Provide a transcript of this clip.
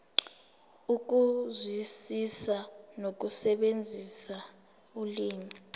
ukuzwisisa nokusebenzisa ulimi